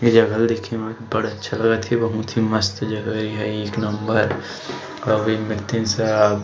ये जगह ल देखे म बड़ अच्छा लगत हे बहुत ही मस्त जगह ये एहा एक नंबर अऊ एक व्यक्तिन साव --